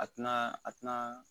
A tina a tina